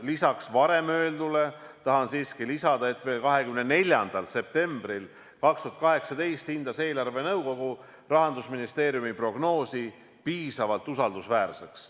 Lisaks varem öeldule tahan siiski lisada, et veel 24. septembril 2018 hindas eelarvenõukogu Rahandusministeeriumi prognoosi piisavalt usaldusväärseks.